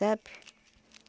Sabe?